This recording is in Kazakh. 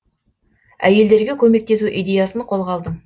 әйелдерге көмектесу идеясын қолға алдым